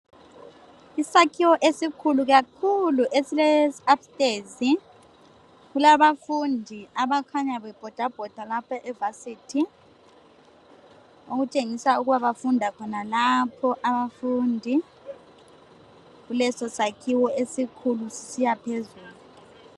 Isakhiwo esikhulu kakhulu esileupstairs. Kulabafundi abakhanya bebhodabhoda lapha evarsity okutshengisa ukuba bafunda khonalapho abafundi kulesosakhiwo esikhulu sisiya phezulu.